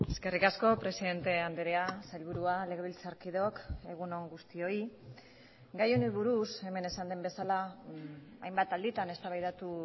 eskerrik asko presidente andrea sailburua legebiltzarkideok egun on guztioi gai honi buruz hemen esan den bezala hainbat alditan eztabaidatu